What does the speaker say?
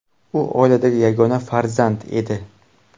U oiladagi yagona farzand edi.